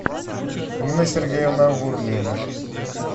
нина сергеевна гурлеева